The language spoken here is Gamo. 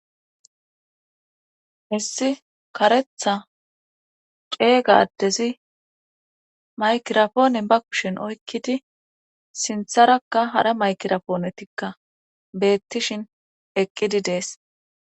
issi karetha ceega adezi maykirapoonen ba kushin oykkidi sintharakka hara maykirapoonetikka beettishin eqqidi de'es